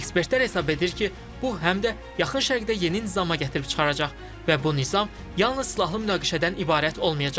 Ekspertlər hesab edir ki, bu həm də Yaxın Şərqdə yeni nizama gətirib çıxaracaq və bu nizam yalnız silahlı münaqişədən ibarət olmayacaq.